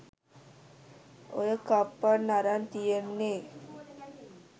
ඔය කප්පන් අරන් තියෙන්නේ